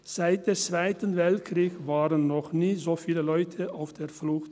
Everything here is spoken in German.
Seit dem Zweiten Weltkrieg waren noch nie so viele Leute auf der Flucht.